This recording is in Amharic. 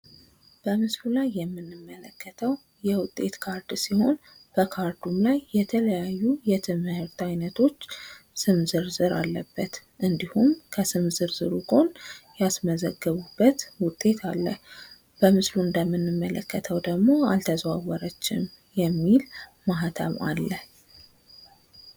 በምስሉ ላይ የምንመለከተው የውጤት ካርድ ሲሆን በካርዱም ላይ የተለያዩ የትምህርት አይነቶች ስም ዝርዝር አለበት። እንዲሁም ከስም ዝርዝሩ ጎን ያስመዘገቡበት ውጤት አለ። በምስሉ ላይ እንደምንመለከተው ደግሞ አልተዘዋወረችም የሚል ማህተም አለ።